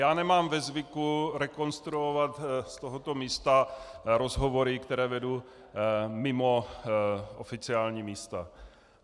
Já nemám ve zvyku rekonstruovat z tohoto místa rozhovory, které vedu mimo oficiální místa.